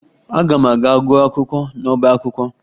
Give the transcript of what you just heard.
Aga m aga gụọ akwụkwọ n'ọba akwụkwọ